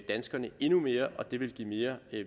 danskerne endnu mere og at det ville give mere